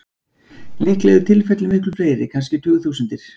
Líklega eru tilfellin miklu fleiri, kannski tugþúsundir.